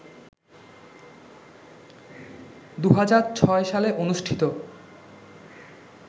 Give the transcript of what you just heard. ২০০৬ সালে অনুষ্ঠিত